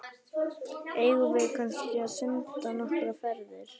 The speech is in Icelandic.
Eigum við kannski að synda nokkrar ferðir?